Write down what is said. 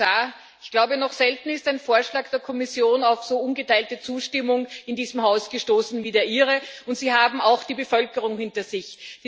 Herr Kommissar, ich glaube, noch selten ist ein Vorschlag der Kommission auf so ungeteilte Zustimmung in diesem Haus gestoßen wie der Ihre, und Sie haben auch die Bevölkerung hinter sich.